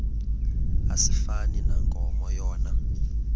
asifani nankomo yona